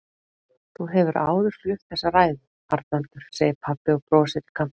Þú hefur áður flutt þessa ræðu, Arnaldur, segir pabbi og brosir í kampinn.